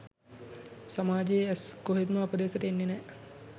සමාජයේ ඇස්‌ කොහෙත්ම අප දෙසට එන්නේ නැහැ